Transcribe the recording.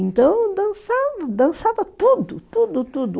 Então dançava, dançava tudo, tudo, tudo.